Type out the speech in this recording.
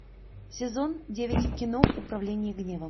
сезон девять кино управление гневом